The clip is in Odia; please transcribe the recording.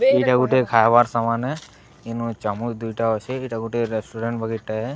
ଏଇଟା ଗୋଟେ ଖାଇବାର୍ ସମାନ ଏ। ଇନୁ ଚାମୁଚ ଦୁଇଟା ଅଛି। ଏଇଟା ଗୋଟେ ରେଷ୍ଟୁରାଣ୍ଟ ବଗିର୍ ଟା ଏ।